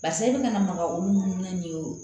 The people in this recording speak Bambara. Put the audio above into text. Barisa i bɛna maga olu munumunu na nin ye o